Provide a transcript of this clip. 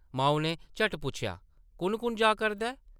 माऊ नै झट्ट पुच्छेआ, ‘‘कुʼन-कुʼन जा करदा ऐ ?’’